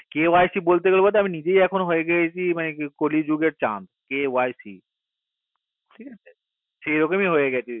kyc বলতে বলতে আমি নিজেই এখন হয়ে গেছি কলি যুগের চাঁদ KYC সেই রকোমি হয়ে গেছি